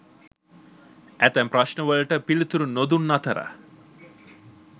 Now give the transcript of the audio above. ඇතැම් ප්‍රශ්නවලට පිළිතුරු නොදුන් අතර